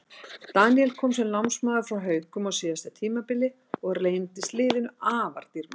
Daníel kom sem lánsmaður frá Haukum á síðasta tímabili og reyndist liðinu afar dýrmætur.